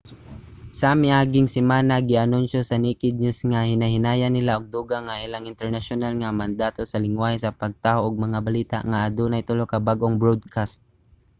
sa miaging semana gianunsyo sa naked news nga hinay-hinayan nila og dugang ang ilang internasyonal nga mandato sa linggwahe sa pagtaho og mga balita nga adunay tulo ka bag-ong broadcast